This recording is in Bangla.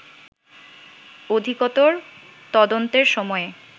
অধিকতর তদন্তের সময়ে